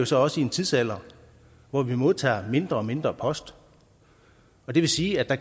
så også i en tidsalder hvor vi modtager mindre og mindre post og det vil sige at der